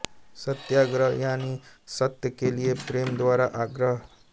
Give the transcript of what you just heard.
सत्याग्रह यानी सत्य के लिए प्रेम द्वारा आग्रह